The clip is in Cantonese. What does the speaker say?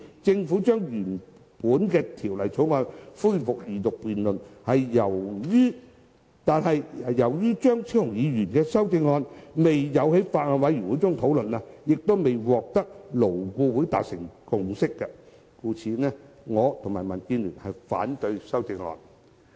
政府現時已安排《條例草案》恢復二讀辯論，而由於張超雄議員的修正案未有在法案委員會中討論，亦未在勞顧會取得共識，我及民建聯均反對修正案。